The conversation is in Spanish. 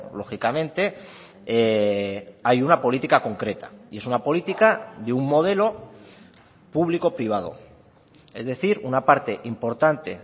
lógicamente hay una política concreta y es una política de un modelo público privado es decir una parte importante